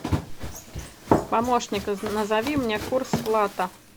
помощник назови мне курс лата